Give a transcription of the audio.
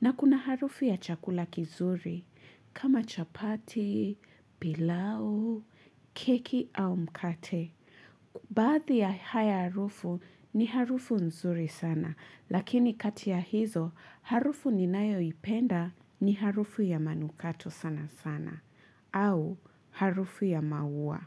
na kuna harufu ya chakula kizuri, kama chapati, pilau, keki au mkate. Bahadhi ya haya harufu ni harufu nzuri sana, lakini kati ya hizo, harufu ninayo ipenda ni harufu ya manukato sana sana, au harufu ya maua.